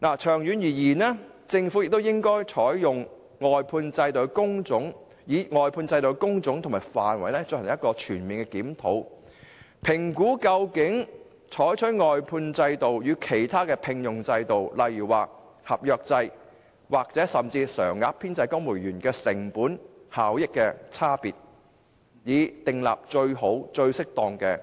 長遠而言，政府應就外判制度的工種和範圍進行全面檢討，評估採用外判制度與其他聘用制度，例如合約制或甚至公務員常額編制，在成本效益上的差異，以訂立最好、最適當的僱傭制度。